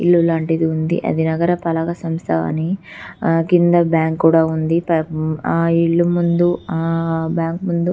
ఇల్లు లాంటిది ఉంది అది నగరపాలక సంస్థ అని కింద బ్యాంకు కూడా ఉంది ఆ ఇల్లు ముందు ఆ బ్యాంకు ముందు --